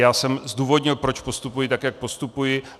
Já jsem zdůvodnil, proč postupuji tak, jak postupuji.